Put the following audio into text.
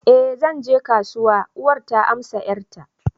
eh zan je kasuwa yanzu, uwar ta amsa 'yarta